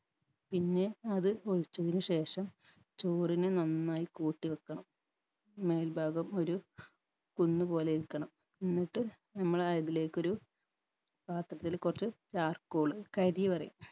പിന്നെ അത് ഒഴിച്ചതിനു ശേഷം ചോറിന് നന്നായ് കൂട്ടി വെക്കണം മേൽഭാഗം ഒരു കുന്ന് പോലെ ഇരിക്കണം എന്നിട്ട് ഞമ്മളതിലേക്കൊരു പാത്രത്തിൽ കൊർച്ച് charcoal കരി പറയും